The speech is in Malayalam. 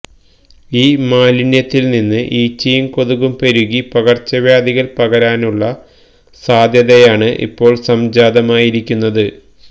ഈ മാലിന്യത്തില്നിന്ന് ഈച്ചയും കൊതുകും പെരുകി പകര്ച്ചവ്യാധികള് പകരാനുള്ള സാധ്യതയാണ് ഇപ്പോള് സംജാതമായിരിക്കുന്നത്